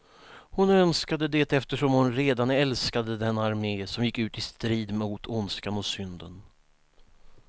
Hon önskade det eftersom hon redan älskade denna armé, som gick ut i strid mot ondskan och synden.